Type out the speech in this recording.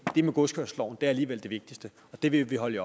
det med godskørselsloven er alligevel det vigtigste og det vil vi holde